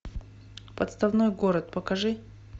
подставной город покажи